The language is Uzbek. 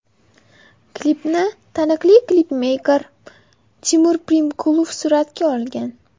Klipni taniqli klipmeyker Timur Primkulov suratga olgan.